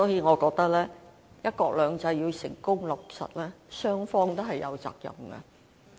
我認為，"一國兩制"要成功落實，雙方都有責任。